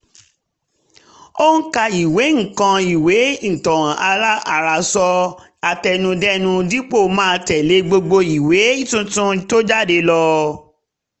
ó ń ka ìwé ń ka ìwé ìtàn àròsọ àtẹnudẹ́nu dípò máa tẹ̀lé gbogbo ìwé tuntun tó jáde